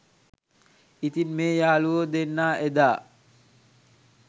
ඉතින් මේ යාලුවො දෙන්නා එදා